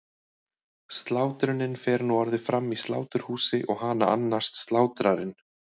Slátrunin fer nú orðið fram í sláturhúsi og hana annast slátrarinn.